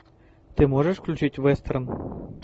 ты можешь включить вестерн